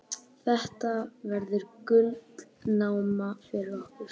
Þetta verður gullnáma fyrir okkur.